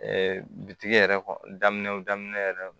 bitigi yɛrɛ kɔnɔ daminɛw daminɛ yɛrɛ